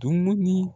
Dumuni